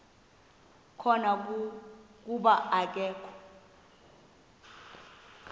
khona kuba akakho